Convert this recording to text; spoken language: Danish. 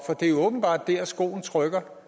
det er jo åbenbart dér skoen trykker